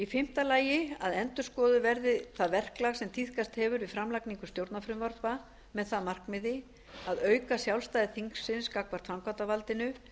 fimmta að endurskoðað verði það verklag sem tíðkast hefur við framlagningu stjórnarfrumvarpa með það að markmiði að auka sjálfstæði þingsins gagnvart framkvæmdarvaldinu